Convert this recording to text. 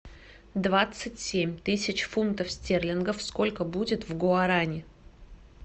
двадцать семь тысяч фунтов стерлингов сколько будет в гуарани